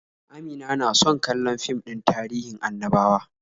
Amina na so kallon fim din tahirin annabawa.